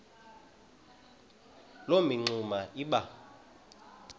loo mingxuma iba